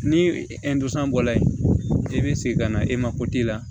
Ni bɔla yen i bɛ segin ka na e ma la